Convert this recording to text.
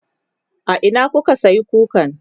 a Ina kuka sayi kukan?